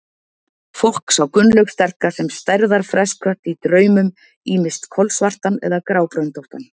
Fólk sá Gunnlaug sterka sem stærðar fresskött í draumum, ýmist kolsvartan eða grábröndóttan.